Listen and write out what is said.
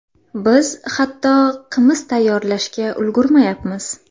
Biz hatto qimiz tayyorlashga ulgurmayapmiz.